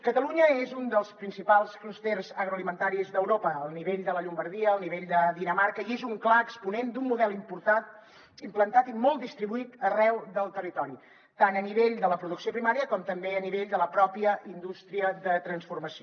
catalunya és un dels principals clústers agroalimentaris d’europa al nivell de la llombardia al nivell de dinamarca i és un clar exponent d’un model importat implantat i molt distribuït arreu del territori tant a nivell de la producció primària com també a nivell de la pròpia indústria de transformació